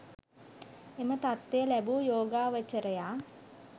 එම තත්ත්වය ලැබූ යෝගාවචරයා